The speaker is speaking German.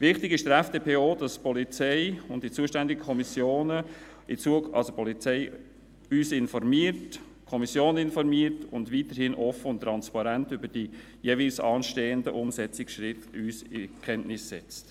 Wichtig ist der FDP auch, dass die Polizei uns und die zuständige Kommission informiert und weiterhin offen und transparent über die jeweils anstehenden Umsetzungsschritte in Kenntnis setzt.